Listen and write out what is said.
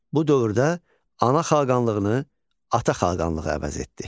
Bu dövrdə ana xaqanlığını ata xaqanlığı əvəz etdi.